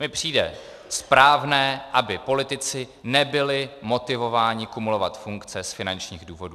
Mně přijde správné, aby politici nebyli motivováni kumulovat funkce z finančních důvodů.